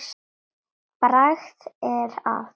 Bragð er að.